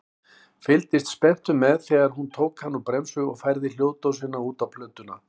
Fylgdist spenntur með þegar hún tók hann úr bremsu og færði hljóðdósina út á plötuna.